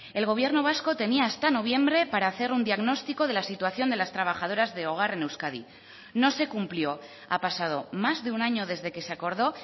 el gobierno vasco tenía hasta noviembre para hacer un diagnóstico de la situación de las trabajadoras de hogar en euskadi no se cumplió ha pasado más de un año desde que se acordó